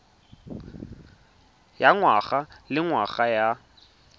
ya ngwaga le ngwaga ya